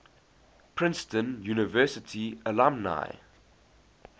princeton university alumni